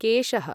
केशः